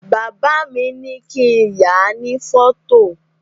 Bàbá mi ní kín yàá ní fọ́tò